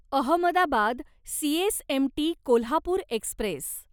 Ahmedabad CSMT Kolhapur Express